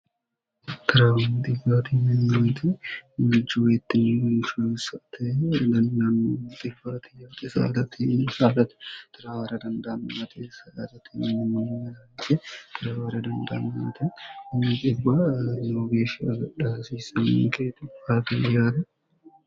tiraawinxigarinye meoti maicowettinnyiinshstenyanmft saatnni salti tirwara dandaammte stnmmance irwara dandammate nyi iwarno geeshshi agadha hasiisannigeetu agalyaana